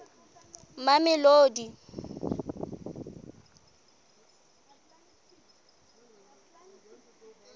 mamelodi